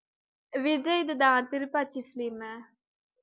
விஜய்து தான் திருபாச்சி film உ